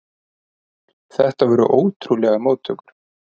Þetta voru ótrúlegar móttökur.